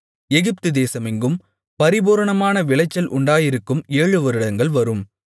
எகிப்து தேசமெங்கும் பரிபூரணமான விளைச்சல் உண்டாயிருக்கும் ஏழு வருடங்கள் வரும்